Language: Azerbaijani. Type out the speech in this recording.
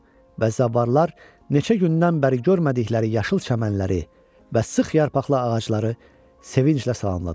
və zəvvarlar neçə gündən bəri görmədikləri yaşıl çəmənləri və sıx yarpaqlı ağacları sevinclə salamladılar.